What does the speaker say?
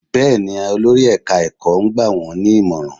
Bẹ́ẹ̀ ni, olórí ẹ̀ka ẹ̀kọ́ ń gbà wọ́n ní ìmọ̀ràn